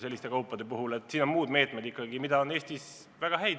Selleks on ikkagi muud meetmed, mida on Eestis väga häid.